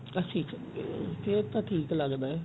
ਅਸੀਂ ਚੰਗੇ ਆਂ ਫੇਰ ਤਾਂ ਠੀਕ ਲੱਗਦਾ